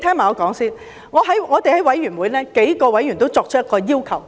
我們在法案委員會，數位委員都提出一個要求。